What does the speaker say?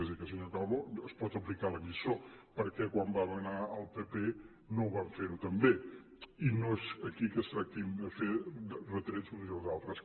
és a dir que el senyor calbó es pot aplicar la lliçó perquè quan va manar el pp no ho van fer tampoc i no és aquí que es tractin de fer retrets uns i els altres